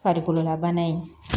Farikololabana in